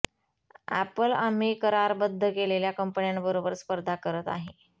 apple आम्ही करारबद्ध केलेल्या कंपन्यांबरोबर स्पर्धा करत आहे